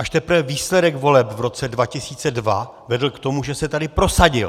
Až teprve výsledek voleb v roce 2002 vedl k tomu, že se tady prosadil.